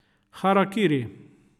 Harakiri.